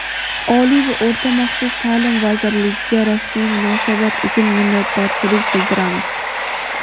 Oliy va o‘rta maxsus taʼlim vazirligiga rasmiy munosabat uchun minnatdorchilik bildiramiz.